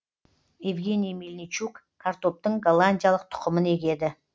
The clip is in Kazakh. евгений мельничук картоптың голландиялық тұқымын егеді